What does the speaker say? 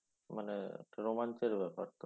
অথামানে একটা রোমাঞ্চের ব্যাপার